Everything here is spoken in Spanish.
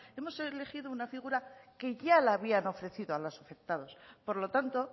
hemos elegido una figura que ya la habían ofrecido a los afectados por lo tanto